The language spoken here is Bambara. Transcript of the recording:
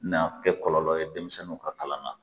' N'a bɛ kɛ kɔlɔlɔ ye denmisɛnninw ka kalan na.